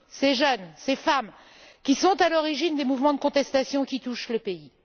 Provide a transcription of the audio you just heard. Ces jeunes, ces femmes, sont à l'origine des mouvements de contestation qui touchent le pays.